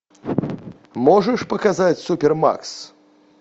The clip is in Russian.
можешь показать супер макс